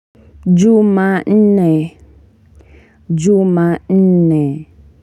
Juma'ne Juma'ne.